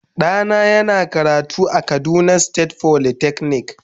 Dana yana karatu a kaduna state folytechnic.